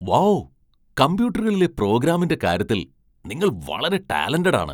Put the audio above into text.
Wow ! കമ്പ്യൂട്ടറുകളിലെ പ്രോഗ്രാമിംഗിന്റെ കാര്യത്തിൽ നിങ്ങൾ വളരെ ടാലന്റഡ് ആണ് .